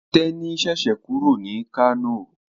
Teni ṣẹṣẹ kúrò ní Kano.